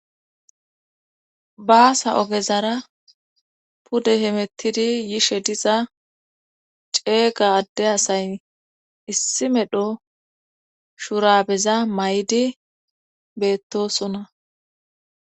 Baasa ogezara pude hemettidi yishe diza ceega adde asay issi medho shurabeza may7idi beettosona.